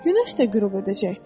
Günəş də qürub edəcəkdir.